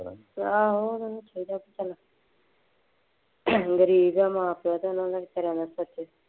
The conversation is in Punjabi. ਆਹੋ ਗਰੀਬ ਹੈ ਮਾਂ ਪਿਉ ਅਤੇ ਉਹਨਾ ਨੇ ਬੇਚਾਰਿਆਂ ਨੇ